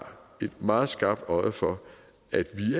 et meget skarpt øje for at vi